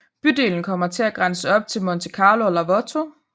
Bydelen kommer til at grænse op til Monte Carlo og Larvotto